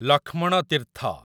Lakshman Tirtha